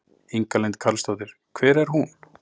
Inga Lind Karlsdóttir: Hver er hún?